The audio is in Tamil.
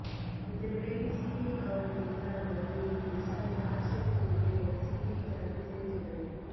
இந்த நிலையில் சிபிஐ காவலுக்கு எதிரான மனுவை இன்று விசாரிக்க ஆட்சேபம் இல்லை என சிபிஐ தரப்பு தெரிவித்துள்ளது